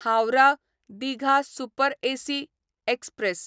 Howrah Digha super AC express